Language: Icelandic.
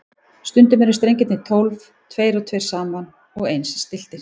Stundum eru strengirnir tólf, tveir og tveir saman og eins stilltir.